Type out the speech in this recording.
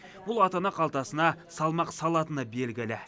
бұл ата ана қалтасына салмақ салатыны белгілі